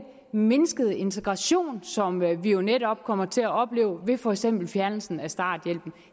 mindskede integration som vi jo netop kommer til at opleve med for eksempel fjernelsen af starthjælpen